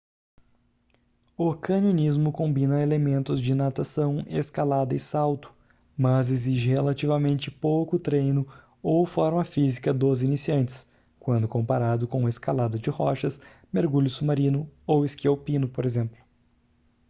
o canionismo combina elementos de natação escalada e salto - mas exige relativamente pouco treino ou forma física dos iniciantes quando comparado com escalada de rochas mergulho submarino ou esqui alpino por exemplo